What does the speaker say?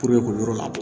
Puruke k'o yɔrɔ labɔ